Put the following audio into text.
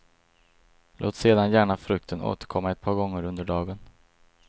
Låt sedan gärna frukten återkomma ett par gånger under dagen.